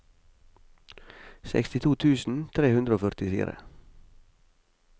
sekstito tusen tre hundre og førtifire